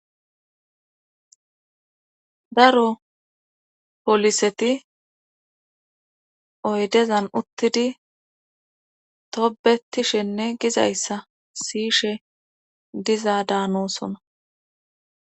daro poliseti oydezan uttidi tobetishenne gizayssa siishe dizaa daanoosona